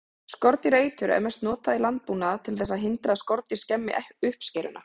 Skordýraeitur er mest notað í landbúnaði til þess að hindra að skordýr skemmi uppskeruna.